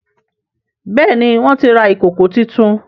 Béèni wón tí rà Ìkòkò títún.